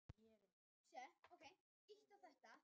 Hægt er að kaupa miða á leikinn hér.